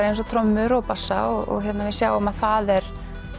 eins og trommur og bassa og við sjáum að það er